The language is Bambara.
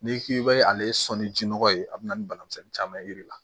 N'i k'i bɛ ale sɔnni jinɔgɔ ye a bɛ na ni bana misɛnnin caman ye i la